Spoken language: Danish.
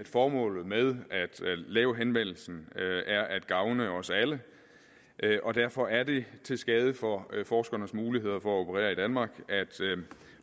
at formålet med at lave henvendelsen er at gavne os alle og derfor er det til skade for forskernes muligheder for at operere i danmark at